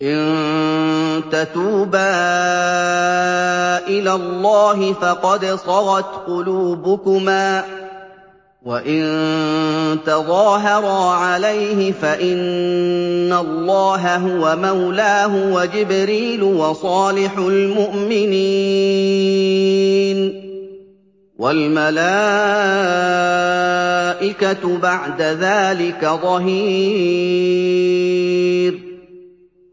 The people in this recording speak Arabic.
إِن تَتُوبَا إِلَى اللَّهِ فَقَدْ صَغَتْ قُلُوبُكُمَا ۖ وَإِن تَظَاهَرَا عَلَيْهِ فَإِنَّ اللَّهَ هُوَ مَوْلَاهُ وَجِبْرِيلُ وَصَالِحُ الْمُؤْمِنِينَ ۖ وَالْمَلَائِكَةُ بَعْدَ ذَٰلِكَ ظَهِيرٌ